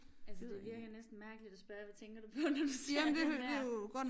Altså det virker næsten mærkeligt at spørge hvad tænker du på når du ser den der?